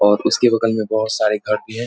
और उसके बगल में बहुत सारे घर भी हैं।